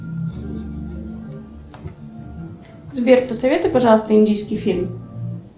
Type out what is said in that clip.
сбер посоветуй пожалуйста индийский фильм